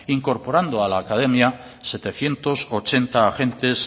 incorporando a la academia setecientos ochenta agentes